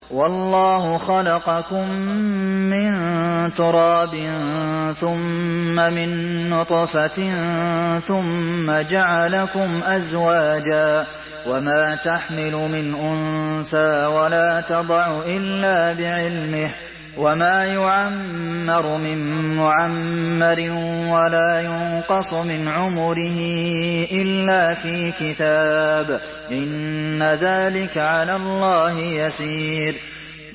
وَاللَّهُ خَلَقَكُم مِّن تُرَابٍ ثُمَّ مِن نُّطْفَةٍ ثُمَّ جَعَلَكُمْ أَزْوَاجًا ۚ وَمَا تَحْمِلُ مِنْ أُنثَىٰ وَلَا تَضَعُ إِلَّا بِعِلْمِهِ ۚ وَمَا يُعَمَّرُ مِن مُّعَمَّرٍ وَلَا يُنقَصُ مِنْ عُمُرِهِ إِلَّا فِي كِتَابٍ ۚ إِنَّ ذَٰلِكَ عَلَى اللَّهِ يَسِيرٌ